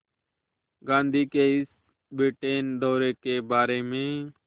गांधी के इस ब्रिटेन दौरे के बारे में